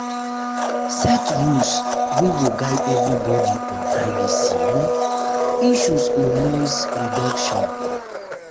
set rules wey go um guide everybody on privacy um issues or noise reduction um